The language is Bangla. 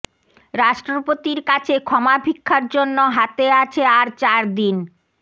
রাষ্ট্রপতির কাছে ক্ষমাভিক্ষার জন্য হাতে আছে আর চার দিন